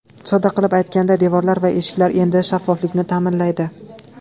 Sodda qilib aytganda devorlar va eshiklar endi shaffoflikni ta’minlaydi.